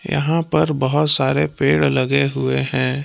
यहां पर बहोत सारे पेड़ लगे हुए हैं।